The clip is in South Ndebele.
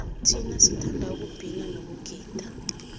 thina sithanda ukubhina nokugida